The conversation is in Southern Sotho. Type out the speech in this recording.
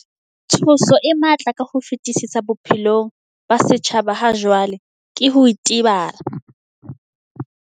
Tshoso e matla ka ho fetisisa bophelong ba setjhaba hajwale ke ho itebala.